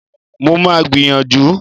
Mo máa gbìyànjú